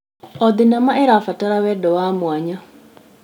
O thenema ĩrabatara wendo wa mwanya.